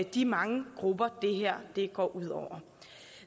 de mange grupper det her går ud over